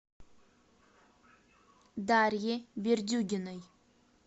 дарье бердюгиной